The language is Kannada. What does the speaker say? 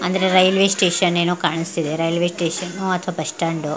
ಅಂದ್ರೆ ರೈಲ್ವೆ ಸ್ಟೇಷನ್ ಏನೋ ಕಾಣಿಸ್ತಾ ಇದೆ. ರೈಲ್ವೆ ಸ್ಟೇಷನ್ ಅಥವಾ ಬಸ್ಸ್ಟ್ಯಾಂಡ್ --